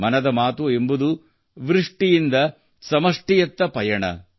ಮನದ ಮಾತು ಎಂಬುದು ವ್ಯಕ್ತಿಯಿಂದ ಸಮಷ್ಟಿಯತ್ತ ಪಯಣ